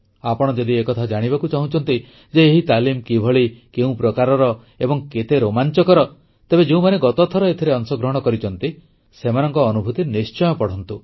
ଆପଣ ଯଦି ଏକଥା ଜାଣିବାକୁ ଚାହୁଁଛନ୍ତି ଯେ ଏହି ତାଲିମ କିଭଳି କେଉଁ ପ୍ରକାରର ଏବଂ କେତେ ରୋମାଂଚକର ତେବେ ଯେଉଁମାନେ ଗତଥର ଏଥିରେ ଅଂଶଗ୍ରହଣ କରିଛନ୍ତି ସେମାନଙ୍କ ଅନୁଭୂତି ନିଶ୍ଚୟ ପଢ଼ନ୍ତୁ